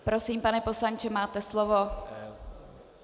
Prosím, pane poslanče, máte slovo.